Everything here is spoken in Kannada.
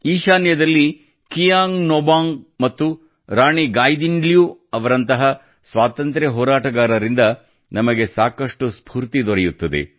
ಈಶಾನ್ಯದಲ್ಲಿ ಕಿಯಾಂಗ್ ನೋಬಂಗ್ ಮತ್ತು ರಾಣಿ ಗಾಯ್ದಿಲನ್ಯೂ ಅವರಂತಹ ಸ್ವಾಂತಂತ್ರ್ಯ ಹೋರಾಟಗಾರರಿಂದ ನಮಗೆ ಸಾಕಷ್ಟು ಸ್ಫೂರ್ತಿ ದೊರೆಯುತ್ತದೆ